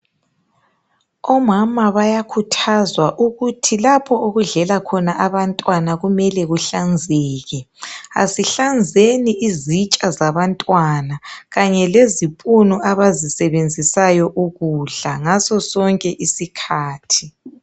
Omama bayakhuthazwa ukuthi lapho okudlela khona abantwana kumele kuhlanzeke, asihlanzeni izitsha zabantwana kanye lezipunu abazisebenzisayo ukudla ngasosonke isikhathi .